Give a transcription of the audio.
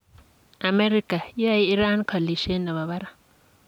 Amerika: Yoe Iran kolisiet nebo barak.